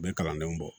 U bɛ kalandenw bɔ